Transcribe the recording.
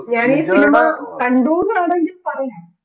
ഞാൻ ഈ cinema കണ്ടു എന്ന് വേണമെങ്കിൽ പറയാം